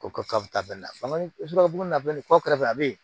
Ko ka taa bɛɛ nabugu na bɛ nin kɔ kɔfɛ a bɛ yen